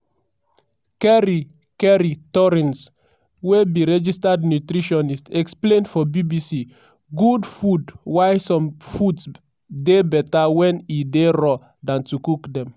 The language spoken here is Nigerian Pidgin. kerry kerry torrens wey be registered nutritionist explain for bbc good food why some foods dey beta wen e dey raw dan to cook dem.